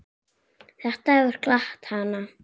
Þetta hefur glatt hana.